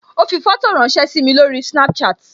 Ó fi fótò ránsẹ́ sími lórí Snapchat